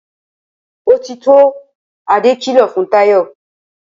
Ó ti tó!' Adé kìlọ̀ fún Táyò